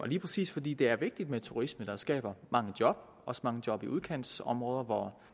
lige præcis fordi det er vigtigt med turisme det skaber mange job også mange job i udkantsområder hvor